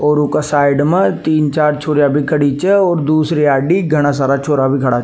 और उ के साइड में तीन चार छोरिया भी खड़ी छे और दूसरी आड़ी में घाना सारा छोरा भी खड़ा छे।